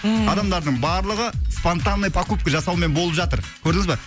ммм адамдардың барлығы спонтанный покупка жасаумен болып жатыр көрдіңіз ба